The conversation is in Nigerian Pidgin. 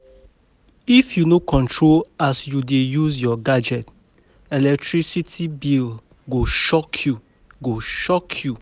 If you no control as you dey use your gadget, electricity bill go shock you. go shock you.